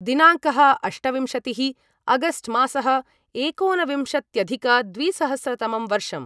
दिनाङ्कः अष्टविंशतिः अगस्ट् मासः एकोनविंशत्यधिकद्विसहस्रतमं वर्षम्